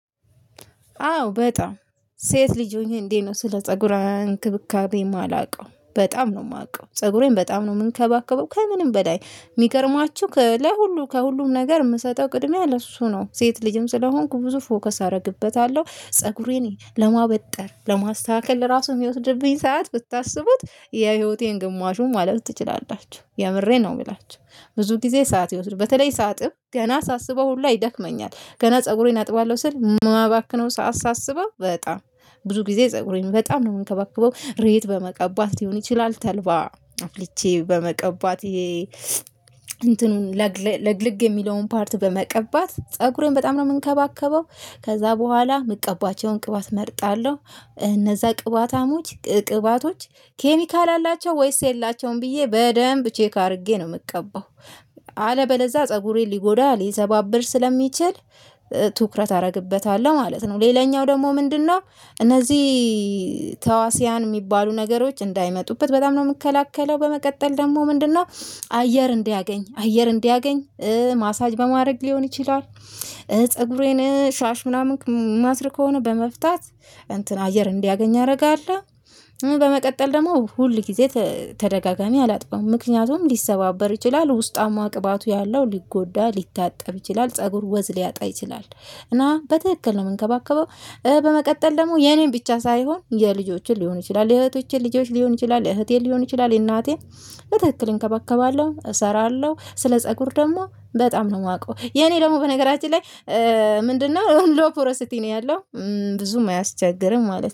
አዎ በጣም ሴት ልጅ ሆኜ እንዴት ነው ስለ ፀጉራዊ እንክብካቤ እማላውቀው በጣም ነው እማውቀው ፀጉሬን በጣም ነው እምንከባከበው ከምንም በላይ። እሚገርማችሁ ከላይ ሁሉ ከሁሉም ነገር የምሰጠው ቅድሚያ ለሱ ነው። ሴት ልጅም ስለሆንኩ ብዙ ፎከስ አደርግበታለሁ ፀጉሬን ለማበጠር ለማስተካከል ለራሱ እሚወስድብኝ ሰዓት ብታስቡት የህይወቴን ግማሹን ማለት ትችላላችሁ የምሬ ነው የምላችሁ። ብዙ ጊዜ ሰዓት ይወስዱ በተለይ ሰዓትም ገና ሳስበው ሁላ ይደክመኛል። ገና ፀጉሬን አጥባለሁ ስል ማባክነው ሰዓት ሳስበው በጣም ብዙ ጊዜ ፀጉሬን በጣም ነው የምንከባከበው። እሬት በመቀባት ሊሆን ይችላል ተልባ አፍልቼ በመቀባት ይሄ እንትኑን ለግልግ የሚለውን ፓርት በመቀባት ፀጉሬን በጣም ነው የምንከባከበው። ከዛ በኋላ ምቀባቸውን ቅባት እመርጣለሁ እነዛ ቅባታሞች ቅባቶች ኬሚካል አላቸው ወይስ የላቸውም ብዬ በደንብ ቼክ አድርጌ ነው የምቀባው። አለበለዛ ፀጉሬን ሊጎዳ ሊዘባብር ስለሚችል። ትኩረት አደርግበታለሁ ማለት ነው። ሌላኛው ደግሞ ምንድነው? እነዚህ ተዋስያን የሚባሉ ነገሮች እንዳይመጡበት በጣም ነው የምከለከለው። በመቀጠል ደግሞ ምንድነው? አየር እንዲያገኝ አየር እንዲያገኝ ማሳጅ በማድረግ ሊሆን ይችላል። ፀጉሬን ሻሽ ምናምን ማስር ከሆነ በመፍታት እንትን አየር እንዲያገኝ ያደርጋል። በመቀጠል ደግሞ ሁል ጊዜ ተደጋጋሚ አላጥበውም ምክንያቱም ሊሰባበር ይችላል ውስጣማ ቅባቱ ያለው ሊጎዳ ሊታጠብ ይችላል ፀጉር ወዝ ሊያጣ ይችላል። እና በትክክል ነው የምንከባከበው። በመቀጠል ደግሞ የኔን ብቻ ሳይሆን የልጆችን ሊሆን ይችላል የእህቶቼን ልጆች ሊሆን ይችላል የእህቴን ሊሆን ይችላል የእናቴን በትክክል እንከባከባለሁ እሰራለሁ ስለ ፀጉር ደግሞ በጣም ነው የማውቀው። የኔ ደግሞ በነገራችን ላይ ምንድነው ሎፖረሲቲ ነው ያለው። ብዙም አያስቸግርም ማለት ነው